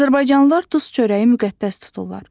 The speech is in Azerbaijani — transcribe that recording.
Azərbaycanlılar duz çörəyi müqəddəs tuturlar.